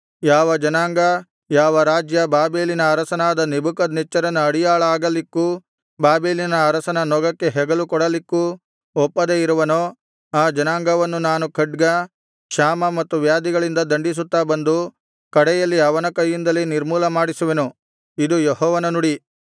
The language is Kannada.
ಯಾವ ಜನಾಂಗ ಯಾವ ರಾಜ್ಯ ಬಾಬೆಲಿನ ಅರಸನಾದ ನೆಬೂಕದ್ನೆಚ್ಚರನ ಅಡಿಯಾಳಾಗಲಿಕ್ಕೂ ಬಾಬೆಲಿನ ಅರಸನ ನೊಗಕ್ಕೆ ಹೆಗಲು ಕೊಡಲಿಕ್ಕೂ ಒಪ್ಪದೆ ಇರುವನೋ ಆ ಜನಾಂಗವನ್ನು ನಾನು ಖಡ್ಗ ಕ್ಷಾಮ ಮತ್ತು ವ್ಯಾಧಿಗಳಿಂದ ದಂಡಿಸುತ್ತಾ ಬಂದು ಕಡೆಯಲ್ಲಿ ಅವನ ಕೈಯಿಂದಲೇ ನಿರ್ಮೂಲ ಮಾಡಿಸುವೆನು ಇದು ಯೆಹೋವನ ನುಡಿ